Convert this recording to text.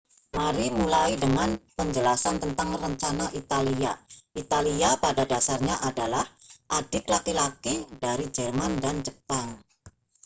mari mulai dengan penjelasan tentang rencana italia italia pada dasarnya adalah adik laki-laki dari jerman dan jepang